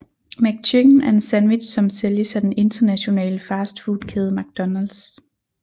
McChicken er en sandwich som sælges af den internationale fastfood kæde McDonalds